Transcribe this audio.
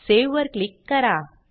save वर click करा